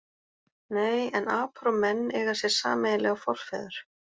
Nei, en apar og menn eiga sér sameiginlega forfeður.